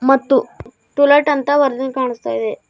ಮತ್ತು too late ಅಂತ ಬರದಿಂದ ಕಾಣಸ್ತಾಇದೆ.